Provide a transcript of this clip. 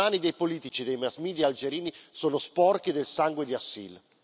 Le mani dei politici e dei mass media algerini sono sporche del sangue di Assil.